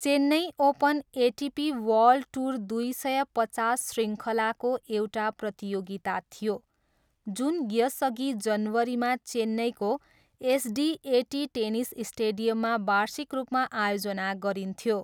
Chennai open ATP world tour दुई सय पचास शृङ्खलाको एउटा प्रतियोगिता थियो जुन यसअघि जनवरीमा चेन्नईको एसडिएटी टेनिस स्टेडियममा वार्षिक रूपमा आयोजना गरिन्थ्यो।